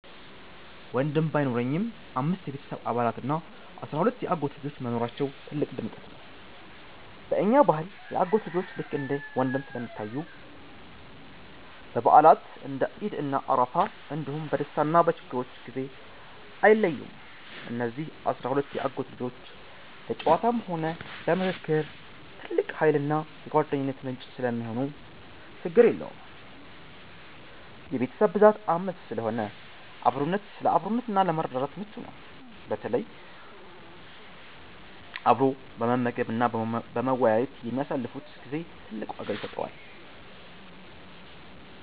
ወንድም ባይኖረኝም፣ አምስት የቤተሰብ አባላት እና አሥራ ሁለት የአጎት ልጆች መኖራቸው ትልቅ ድምቀት ነው። በእኛ ባህል የአጎት ልጆች ልክ እንደ ወንድም ስለሚታዩ፣ በበዓላት (እንደ ዒድ እና አረፋ) እንዲሁም በደስታና በችግር ጊዜ አይለዩም። እነዚህ አሥራ ሁለት የአጎት ልጆች ለጨዋታም ሆነ ለምክክር ትልቅ ኃይልና የጓደኝነት ምንጭ ሰለሚሆኑ ችግር የለውም። የቤተሰብ ብዛት 5 ስለሆነ ለአብሮነትና ለመረዳዳት ምቹ ነው፤ በተለይ አብሮ በመመገብና በመወያየት ለሚያሳልፉት ጊዜ ትልቅ ዋጋ ይሰጠዋል።